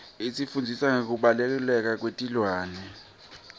isifundzisa ngekubaluleka kwetilwane